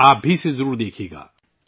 آپ بھی اسے ضرور دیکھئے گا